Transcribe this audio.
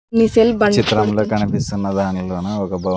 ఈ చిత్రంలో కనిపిస్తున్న దానిలోనూ ఒక భవ--